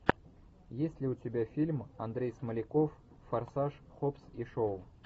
есть ли у тебя фильм андрей смоляков форсаж хоббс и шоу